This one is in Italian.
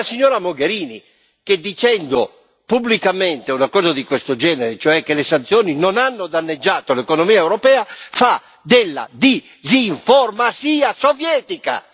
No, è la signora Mogherini, che, dicendo pubblicamente una cosa di questo genere, cioè che le sanzioni non hanno danneggiato l'economia europea, fa della disinformatia sovietica.